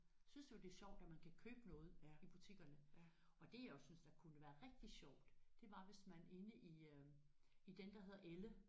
Synes nu det er sjovt at man kan købe noget i butikkerne og det jeg jo synes der kunne være rigtig sjovt det var hvis man inde i øh i den der hedder Elle